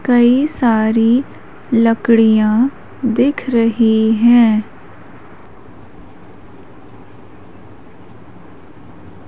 कई सारी लकड़ियां दिख रही हैं।